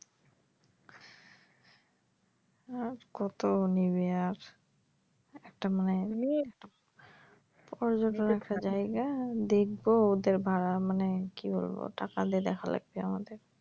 আর কত নিবে আর একটা মায়ের ওরজন্য একটা জায়গা দেখবো ওদের ভাড়া মানে কি বলবো টাকা দিয়ে দেখা লাগছে আমাদের।